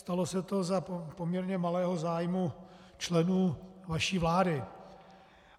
Stalo se to za poměrně malého zájmu členů vaší vlády.